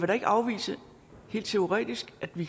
da ikke afvise helt teoretisk at vi